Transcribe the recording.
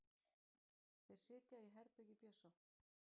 Þeir sitja í herbergi Bjössa.